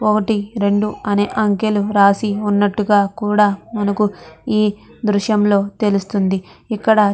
ఒకటి రెండు అనే అంకెలు రాసి ఉన్నట్టుగా కూడా మనకు ఈ దృశ్యం లో తెలుస్తుంది ఇక్కడ.